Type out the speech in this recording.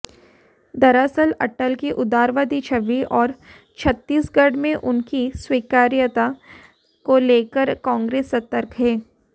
दरअसल अटल की उदारवादी छवि और छत्तीसगढ़ में उनकी स्वीकार्यता को लेकर कांग्रेस सतर्क है